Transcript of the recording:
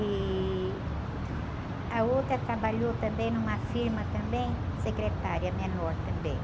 e a outra trabalhou também numa firma também, secretária menor também.